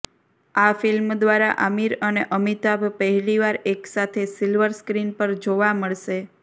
આ ફિલ્મ દ્વારા આમિર અને અમિતાભ પહેલી વાર એકસાથે સિલ્વર સ્ક્રીન પર જોવા મળશે